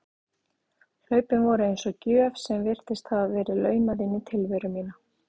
Hlaupin voru eins og gjöf sem virtist hafa verið laumað inn í tilveru mína.